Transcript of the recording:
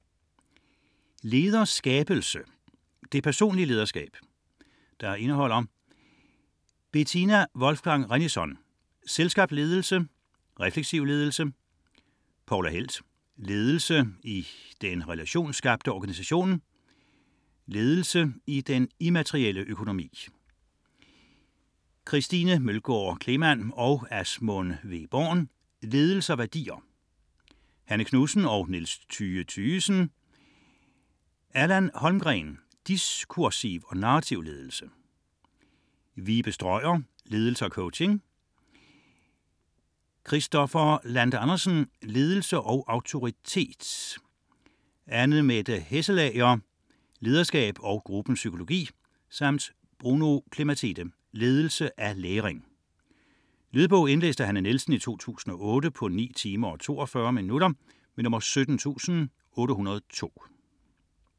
60.1 Lederskabelse: det personlige lederskab Indhold: Betina Wolfgang Rennison: Selvskabt ledelse; Refleksiv ledelse. Poula Helth: Ledelse i den relationsskabte organisation. Ledelse i den immaterielle økonomi / Christine Mølgård Cleeman og Asmund W. Born. Ledelse og værdier / Hanne Knudsen og Niels Thyge Thygesen. Allan Holmgreen: Diskursiv og narrativ ledelse. Vibe Strøier: Ledelse og coaching. Kristoffer Lande Andersen: Ledelse og autoritet. Annemette Hasselager: Lederskab og gruppens psykologi. Bruno Clematide: Ledelse af læring. Lydbog 17802 Indlæst af Hanne Nielsen, 2008. Spilletid: 9 timer, 42 minutter.